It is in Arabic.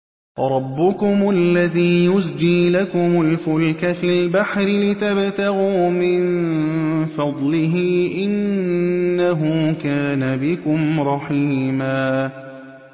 رَّبُّكُمُ الَّذِي يُزْجِي لَكُمُ الْفُلْكَ فِي الْبَحْرِ لِتَبْتَغُوا مِن فَضْلِهِ ۚ إِنَّهُ كَانَ بِكُمْ رَحِيمًا